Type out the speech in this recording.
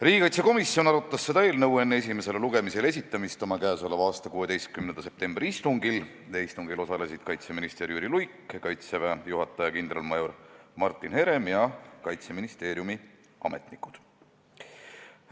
Riigikaitsekomisjon arutas seda eelnõu enne esimesele lugemisele esitamist oma k.a 16. septembri istungil, kus osalesid kaitseminister Jüri Luik, Kaitseväe juhataja kindralmajor Martin Herem ja Kaitseministeeriumi ametnikud.